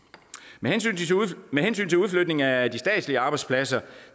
med hensyn til udflytning af de statslige arbejdspladser